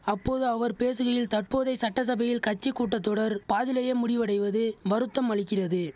அப்போது அவர் பேசுகையில் தற்போதைய சட்டசபையில் கட்சி கூட்ட தொடர் பாதியிலேயே முடிவடைவது வருத்தம் அளிக்கிறது